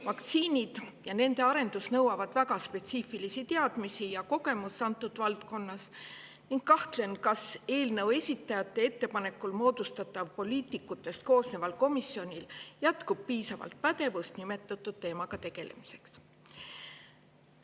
Vaktsiinid ja nende arendus nõuavad väga spetsiifilisi teadmisi ja kogemust antud valdkonnas ning kahtlen, et eelnõu esitajate ettepanekul moodustataval poliitikutest koosneval komisjonil jätkub piisavalt pädevust nimetatud teemaga tegelemiseks.